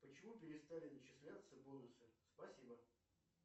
почему перестали начисляться бонусы спасибо